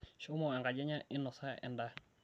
shumo enkaji enye inosa endaa